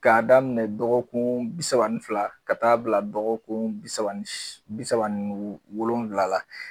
K'a daminɛ dɔgɔkun bi saba ni fila ka taa bila dɔgɔkun bi saba ni bi saba ni wolonwula la.